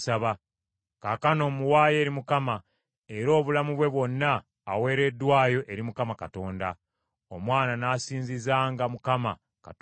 Kaakano mmuwaayo eri Mukama , era obulamu bwe bwonna aweereddwayo eri Mukama Katonda.” Omwana n’asinzizanga Mukama Katonda eyo.